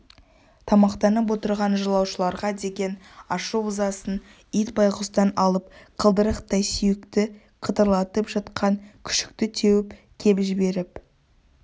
тамақтанып отырған жолаушыларға деген ашу-ызасын ит байғұстан алып қылдырықтай сүйекті қытырлатып жатқан күшікті теуіп кеп жіберіп